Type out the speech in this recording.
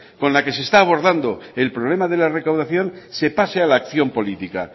con la que se está abordando el problema de la recaudación se pase a la acción política